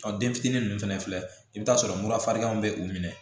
Ɔ den fitinin nunnu fɛnɛ filɛ i bi t'a sɔrɔ murafarin bɛ u minɛ